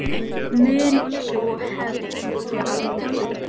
Mun sú hefð haldast?